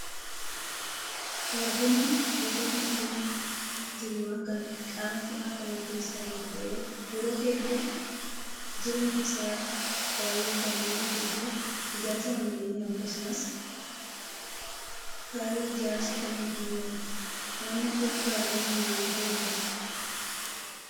Baargamoon gosoota mukkeen jirmaa kan qaama cimaa qaban keessaa tokko ta'ee yeroo hedduu jirmi isaa baay'ee kan dheeratuu fi ijaarsa manneenii akkasumas kaayyoo ijaarsaaf kamiifuu ni oola. Naannoo keetti baargamoon maaliif fayyada?